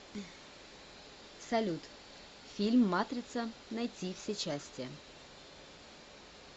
салют фильм матрица найти все части